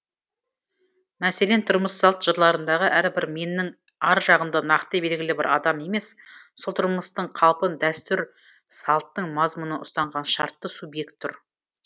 мәселен тұрмыс салт жырларындағы әрбір меннің ар жағында нақты белгілі бір адам емес сол тұрмыстың қалпын дәстүр салттың мазмұнын ұстанған шартты субъект тұр